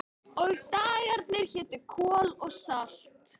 Og dagarnir hétu Kol og Salt